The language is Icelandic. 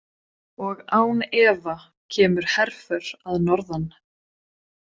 Og án efa kemur herför að norðan.